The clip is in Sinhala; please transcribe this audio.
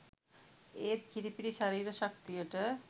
ඒත් කිරිපිටි ශරීර ශක්තියට